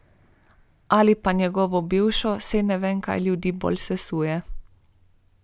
Ali pa njegovo bivšo, saj ne vem, kaj ljudi bolj sesuje.